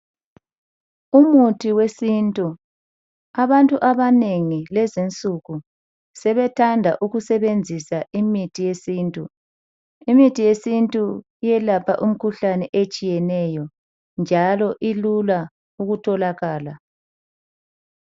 Umuthi wesintu, abantu abanengi lezi nsuku sebethanda ukusebenzisa imithi yesintu. Imithi yesintu eyalapha imikhuhlane etshiyeneyo njalo ilula ukutholakala.